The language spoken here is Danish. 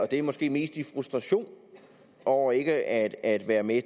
det er måske mest i frustration over ikke at at være med